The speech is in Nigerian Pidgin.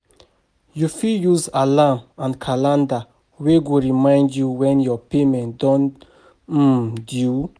you fit use alarm and calender wey go remind you when your payment don um due